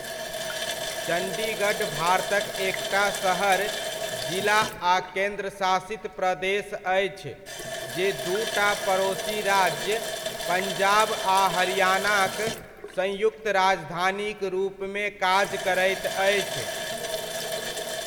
चंडीगढ़ भारतक एकटा शहर, जिला आ केन्द्र शासित प्रदेश अछि जे दूटा पड़ोसी राज्य पंजाब आ हरियाणाक संयुक्त राजधानीक रूपमे काज करैत अछि।